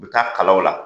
U bɛ taa kalaw la